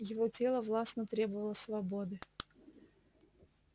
его тело властно требовало свободы